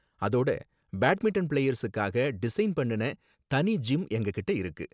அதோட பேட்மிண்டன் பிளேயர்ஸுக்காக டிசைன் பண்ணுன தனி ஜிம் எங்ககிட்ட இருக்கு.